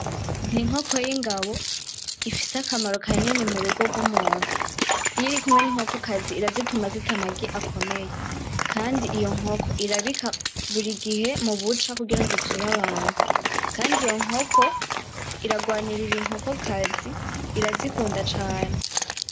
N'inkoko y'ingabo ifise akamaro kanini murugo rw'umuntu . Iy'irikumwe n'inkokokazi irazituma zita amagi akomeye kandi iyo nkoko irabika burigihe mubuca kugira ngo ivyure abantu Kandi iyo nkoko irarwaninirira inkokokazi irazikunda cane.